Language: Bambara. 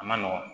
A ma nɔgɔn